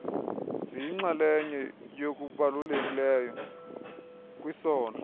ziyinxaleye yokubalulekileyo kwisondlo